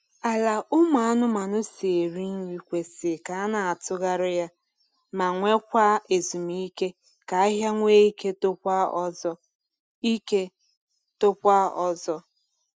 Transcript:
Ala ụmụ anụmanụ si eri nri kwesị k’ana atugharị ya ma nwe kwa ezumike ka ahịhịa nwe ike tokwa ọzọ ike tokwa ọzọ